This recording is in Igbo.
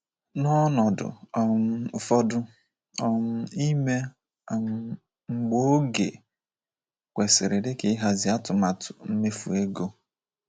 N’ọnọdụ um ụfọdụ, um ime um mgbe oge kwesiri dika ịhazi atụmatụ mmefu ego.